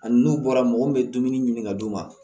Ani n'u bɔra mɔgɔ min bɛ dumuni ɲini ka d'u ma